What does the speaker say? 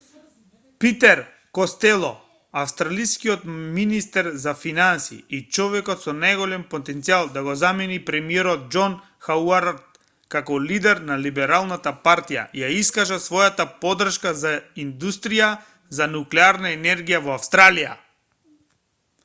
питер костело австралискиот министер за финансии и човекот со најголем потенцијал да го замени премиерот џон хауард како лидер на либералната партија ја искажа својата поддршка за индустрија за нуклеарна енергија во австралија